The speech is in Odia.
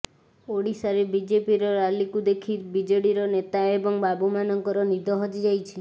ଓଡିଶାରେ ବିଜେପିର ରାଲିକୁ ଦେଖି ବିଜେଡିର ନେତା ଏବଂ ବାବୁମାନଙ୍କର ନିଦ ହଜିଯାଇଛି